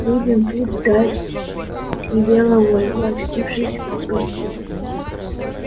будем тут ждать велела ольга очутившись в гостинной